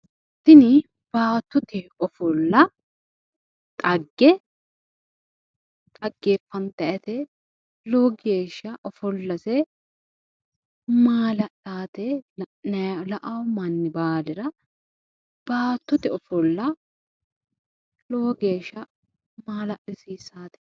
Tini baattote ofolla dhagge dhaggeeffantayite. Lowo geeshsha ofollose maala'lawote la"awo manni baalira baattote ofolla Lowo geeshsha maala'lissawote.